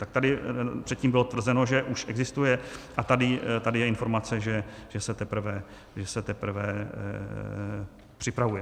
Tak tady předtím bylo tvrzeno, že už existuje, a tady je informace, že se teprve připravuje.